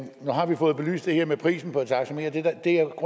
har vi fået belyst det her med prisen på et taxameter